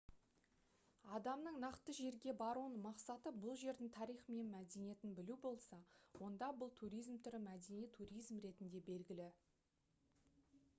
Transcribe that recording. адамның нақты жерге баруының мақсаты бұл жердің тарихы мен мәдениетін білу болса онда бұл туризм түрі мәдени туризм ретінде белгілі